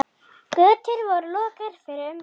Götur voru lokaðar fyrir umferð.